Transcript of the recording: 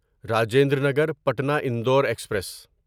Rajendra Nagar Patna Indore express